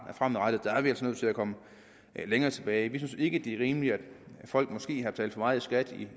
fremover er vi altså nødt til at komme længere tilbage vi synes ikke det er rimeligt at folk måske har betalt for meget i skat